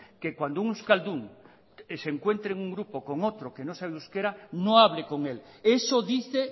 que cuando un euskaldun se encuentre en un grupo con otro que no sabe euskera no hable con él eso dice